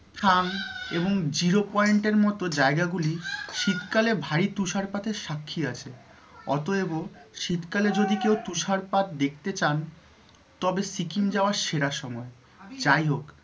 হাং এবং zero point এর মত জায়গা গুলি শীতকালে ভারী তুষারপাতের সাক্ষী আছে অতএব তুষারপাত দেখতে চান তবে সিকিম যাওয়ার সেরা সময়, যাই হোক